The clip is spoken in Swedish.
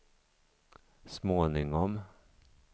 småningom